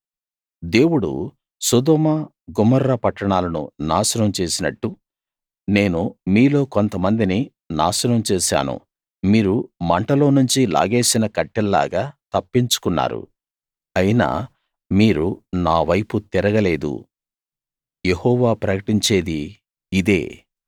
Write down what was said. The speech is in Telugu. దేవుడు సొదొమ గొమొర్రా పట్టణాలను నాశనం చేసినట్టు నేను మీలో కొంతమందిని నాశనం చేశాను మీరు మంటలోనుంచి లాగేసిన కట్టెల్లాగా తప్పించుకున్నారు అయినా మీరు నా వైపు తిరగలేదు యెహోవా ప్రకటించేది ఇదే